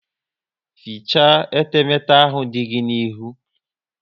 Fichaa etemete ahụ dị gị n'ihu!